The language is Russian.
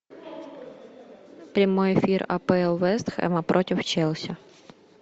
прямой эфир апл вест хэма против челси